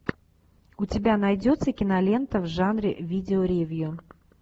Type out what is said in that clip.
у тебя найдется кинолента в жанре видеоревью